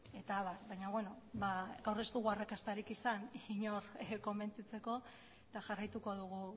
eta abar baina beno gaur ez dugu arrakastarik izan inork konbentzitzeko eta jarraituko dugu